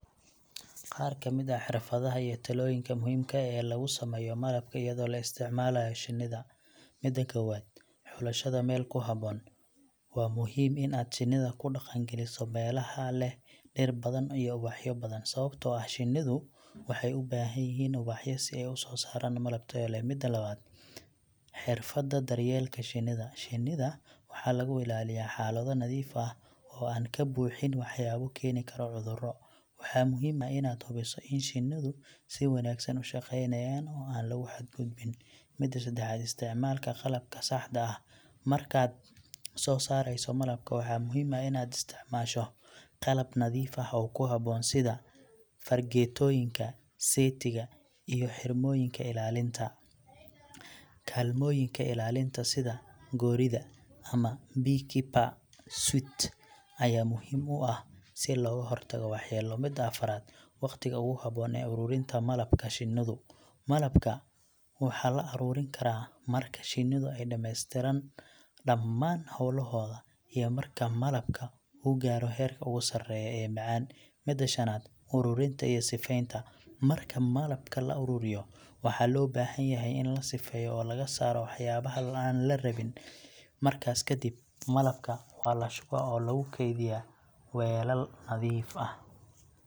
Qaar ka mid ah xirfadaha iyo talooyinka muhiimka ah ee lagu sameeyo malabka iyadoo la isticmaalayo shinnida: Midda kowaad ;Xulashada meel ku habboon: Waa muhiim in aad shinnida ku dhaqan-galiso meelaha leh dhir badan iyo ubaxyo badan, sababtoo ah shinnidu waxay u baahan yihiin ubaxyo si ay u soo saaraan malab tayo leh. Midda labaad; Xirfadda daryeelka shinnida: Shinnida waxaa lagu ilaaliyaa xaalado nadiif ah oo aan ka buuxin waxyaabo keeni kara cuduro. Waxaa muhiim ah inaad hubiso in shinnidu si wanaagsan u shaqeynayaan oo aan lagu xadgudbin. Midda seddaxaad; Isticmaalka qalabka saxda ah: Markaad soo saarayso malabka, waxaa muhiim ah in aad isticmaasho qalab nadiif ah oo ku habboon, sida fargeetooyinka, seetiga, iyo xirmooyinka ilaalinta. Kaalmooyinka ilaalinta sida goorida ama beekeeper suit ayaa muhiim u ah si looga hortago waxyeello. Midda afaraad; Waqtiga ugu habboon ee ururinta malabka shinnidu; Malabka waxaa la ururin karaa marka shinnidu ay dhammaystiran dhammaan hawlahooda iyo marka malabka uu gaaro heerka ugu sarreeya ee macaan. Midda shanaad; Uruurinta iyo sifeynta: Marka malabka la ururiyo, waxaa loo baahan yahay in la sifeyo oo laga saaro waxyaabaha aan la rabin. Markaas ka dib, malabka waa la shubaa oo lagu kaydiyaa weelal nadiif ah.